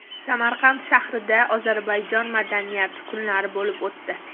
Samarqand shahrida Ozarbayjon madaniyati kunlari bo‘lib o‘tdi.